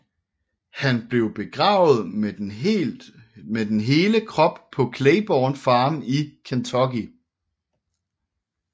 Han blev begravet med den hele krop på Claiborne Farm i Kentucky